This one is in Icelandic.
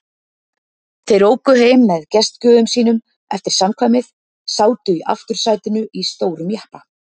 Þau óku heim með gestgjöfum sínum eftir samkvæmið, sátu í aftursætinu í stórum jeppa.